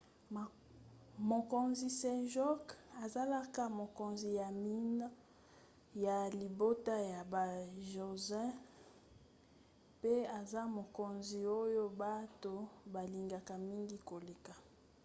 mokonzi sejong azalaka mokonzi ya minei ya libota ya ba joseon pe aza mokonzi oyo bato balingaka mingi koleka